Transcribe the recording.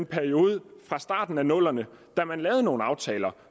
perioden fra starten af nullerne da man lavede nogle aftaler